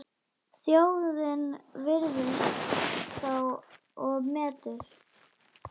Þjóðin virðir þá og metur.